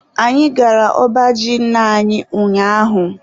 Anyị gara ọba ji nna anyi ụnyaahụ.